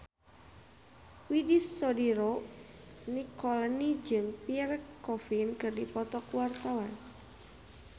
Widy Soediro Nichlany jeung Pierre Coffin keur dipoto ku wartawan